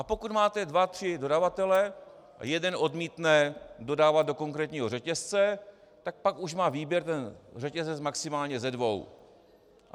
A pokud máte dva tři dodavatele, jeden odmítne dodávat do konkrétního řetězce, tak pak už má výběr ten řetězec maximálně ze dvou.